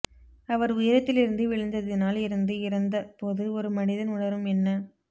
அவர் உயரத்திலிருந்து விழுந்ததினால் இருந்து இறந்த போது ஒரு மனிதன் உணரும் என்ன